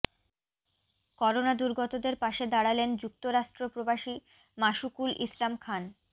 corona দূর্গতদের পাশে দাড়ালেন যুক্তরাষ্ট্র প্রবাসী মাশুকুল ইসলাম খান